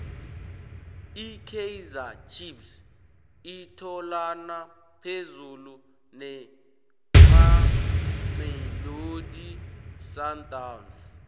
ikaizer chief itholana phezulu nemamelodi sundowns